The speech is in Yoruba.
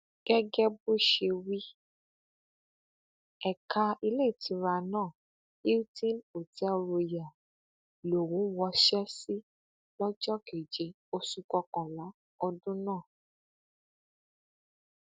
gẹgẹ bó ṣe wí ẹka iléetura náà hilton hotel royal lòún wọṣẹ sí lọjọ keje oṣù kọkànlá ọdún náà